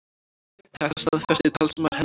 Þetta staðfesti talsmaður hennar í gær